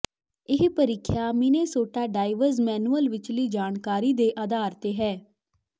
ਇਹ ਪ੍ਰੀਖਿਆ Minnesota drivers manual ਵਿਚਲੀ ਜਾਣਕਾਰੀ ਦੇ ਆਧਾਰ ਤੇ ਹੈ